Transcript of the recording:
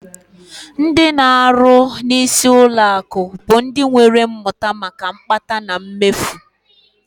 Ndị na-arụ n'isi ụlọọrụ ụlọakụ bụ ndị nwere mmụta maka mkpata na mmefu